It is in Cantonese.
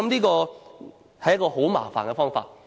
我想這是很麻煩的方法。